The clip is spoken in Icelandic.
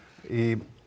í